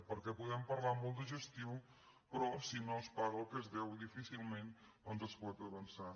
perquè podem parlar molt de gestió però si no es paga el que es deu difícilment doncs es pot avançar